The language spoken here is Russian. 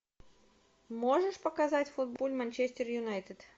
можешь показать футбол манчестер юнайтед